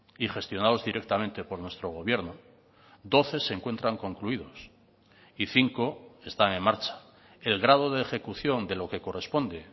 y gestionados directamente por nuestro gobierno doce se encuentran concluidos y cinco están en marcha el grado de ejecución de lo que corresponde